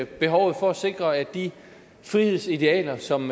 behovet for at sikre at de frihedsidealer som